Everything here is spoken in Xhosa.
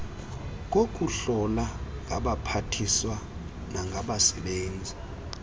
kokuhlola ngabaphathiswa nangabasebenzi